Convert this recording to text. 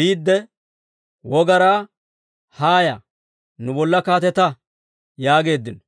biidde wogaraa, ‹Haaya, nu bolla kaatetta› yaageeddino.